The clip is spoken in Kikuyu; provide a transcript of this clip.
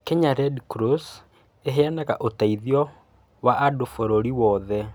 Kenya Red Cross ĩheanaga ũteithio wa andũ bũrũri wothe.